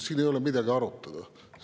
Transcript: Siin ei ole midagi arutada.